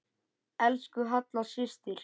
Elsku Halla systir.